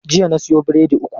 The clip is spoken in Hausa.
Jiya na siyo biredi uku.